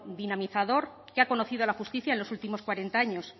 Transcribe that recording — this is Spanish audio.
dinamizador que ha conocido la justicia en los últimos cuarenta años